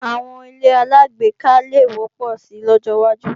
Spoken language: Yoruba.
Àwọn ilé-aláàgbéká le wọ́pọ̀ si lọ́jọwájú